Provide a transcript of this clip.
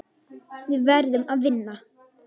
Við verðum að vinna.